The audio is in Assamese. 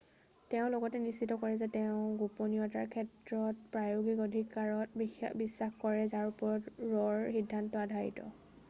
তেওঁ লগতে নিশ্চিত কৰে যে তেওঁ গোপনীয়তাৰ ক্ষেত্ৰত প্ৰায়োগিক অধিকাৰত বিশ্বাস কৰে যাৰ ওপৰত ৰ'ৰ সিদ্ধান্ত আধাৰিত